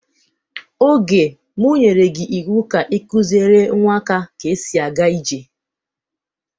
Oge, m nyerey gị iwu ka ị kuziere nwa ka esi aga ije!